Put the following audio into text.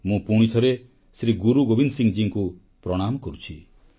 ମୁଁ ପୁଣିଥରେ ଗୁରୁ ଗୋବିନ୍ଦ ସିଂଙ୍କୁ ପ୍ରଣାମ କରୁଛି